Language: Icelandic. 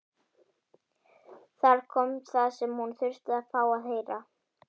Þar kom það sem hún þurfti að fá að heyra.